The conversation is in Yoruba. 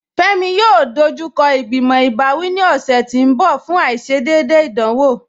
Fẹmi yóò dọjúkọ igbimọ̀ ibàwí ní ọṣẹ̀ tì n bọ̀ fún aìṣédéédé ìdánwọ̀.